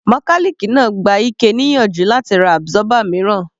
Mọkálìkì náà gba Ike níyànjú láti ra absorber mìíràn.